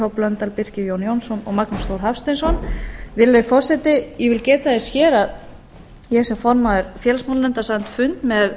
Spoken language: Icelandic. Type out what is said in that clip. h blöndal birkir jón jónsson og magnús þór hafsteinsson virðulegi forseti ég vil geta þess hér að ég sem formaður félagsmálanefndar sat fund með